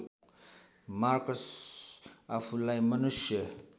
Marcus आफूला‌ई मनुष्य